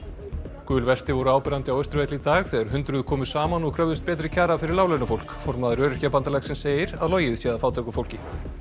gul vesti voru áberandi á Austurvelli í dag þegar hundruð komu saman og kröfðust betri kjara fyrir láglaunafólk formaður Öryrkjabandalagsins segir að logið sé að fátæku fólki